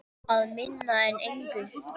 Að minna en engu.